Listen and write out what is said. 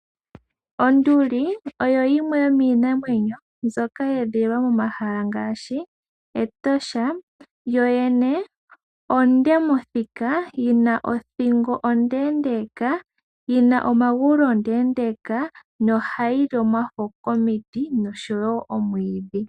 Onduli oyo yimwe yomiinamwenyo mbyoka yedhililwa momahala ngaashi Etosha yoyene onde mothika yina othingo ondendeka, yina omagulu omaleleka na ohayi li omafo komiti nosho wo omwidhi.